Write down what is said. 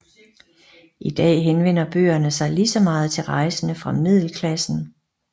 I dag henvender bøgerne sig lige så meget til rejsende fra middelklassen